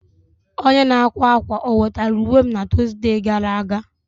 Onye n'akwa akwa o wetara uwe m na Tọzdee gara aga?